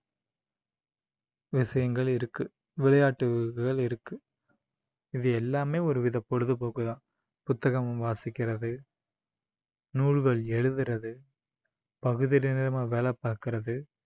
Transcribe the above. விஷயங்கள் இருக்கு விளையாட்டுகள் இருக்கு இது எல்லாமே ஒரு வித பொழுதுபோக்குதான் புத்தகம் வாசிக்கிறது நூல்கள் எழுதுறது பகுதி நேரமா வேலை பாக்குறது